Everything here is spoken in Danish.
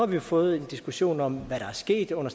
vi jo fået en diskussion om hvad der er sket under